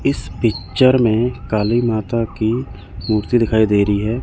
इस पिक्चर में काली माता की मूर्ति दिखाई दे रही है।